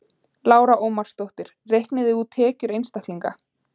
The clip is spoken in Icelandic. Lára Ómarsdóttir: Reiknið þið út tekjur einstaklinga?